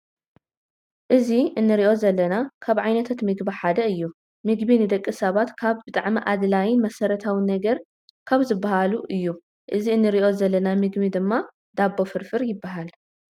እዚ እንርእዮ ዘለና ካብ ዓይነታት ምግቢ ሓደ እዩ። ምግቢ ንደቂ ሰባት ካብ ብጣዕሚ ኣድላይን መሰረታዊን ነገር ካብ ዝባሃሉ እዩ። እዚ እንርእዩ ዘለና ምግቢ ድማ ዳቦ ፍርፍር ይባሃል።